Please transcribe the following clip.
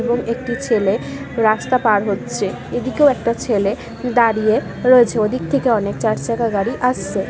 এবং একটি ছেলে রাস্তা পার হচ্ছে। এদিকেও একটা ছেলে দাঁড়িয়ে রয়েছে। ওদিক থেকে অনেক চারচাকা গাড়ি আসছে।